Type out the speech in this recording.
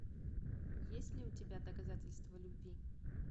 есть ли у тебя доказательства любви